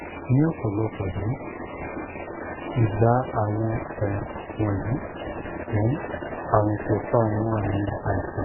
ni ọpọlọpọ um igba awọn um wọnyi um arun ko fa awọn aami aisan